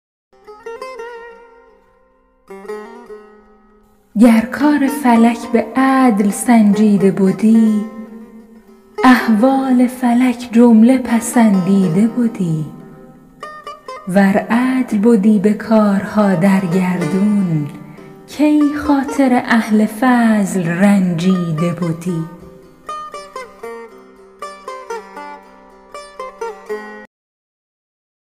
گر کار فلک به عدل سنجیده بدی احوال فلک جمله پسندیده بدی ور عدل بدی به کارها در گردون کی خاطر اهل فضل رنجیده بدی